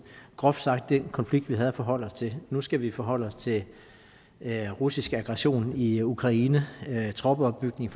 groft sagt den konflikt vi havde at forholde os til nu skal vi forholde os til russisk aggression i ukraine og troppeopbygning